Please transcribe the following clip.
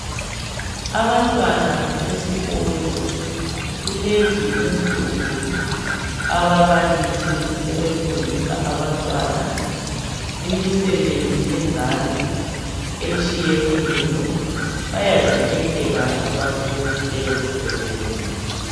Abantwana besikolo kulezi insuku ababalisi sebefundisa abantwana imisebenzi yezandla etshiyeneyo bayazikhethela abafundi leyo msebenzi